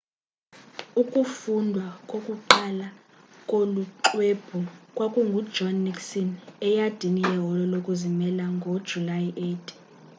ukufundwa kokuqala kolu xwebhu kwakungujohn nixon eyadini yeholo lokuzimela ngojulayi 8